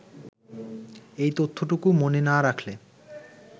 এই তথ্যটুকু মনে না রাখলে